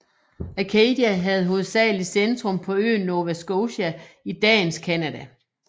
Acadia havde hovedsagelig centrum på øen Nova Scotia i dagens Canada